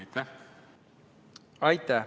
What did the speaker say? Aitäh!